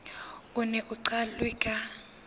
o neng o qalwe ka